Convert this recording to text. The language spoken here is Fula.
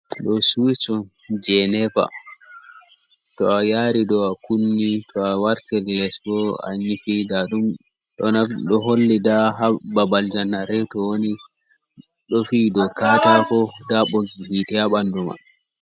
Ɗo siwic o je nepa, to a yari do a kunni to a wartir les bo a nyifi, ɗo holli nda ha babal janareto woni ɗo fi do katako da ɓoggi hite ha bandu man.